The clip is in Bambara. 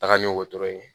Taga ni wotoro ye